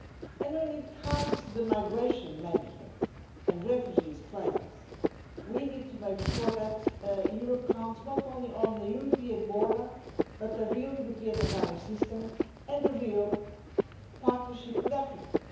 And when it comes to migration management and the refugee crisis, we need to make sure that Europe counts not only on the European border, but the real European Asylum System and a real partnership with Africa.